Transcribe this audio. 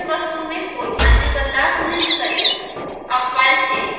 इस फाइल की विषय वस्तु में कोई अन्य बदलाव नहीं करें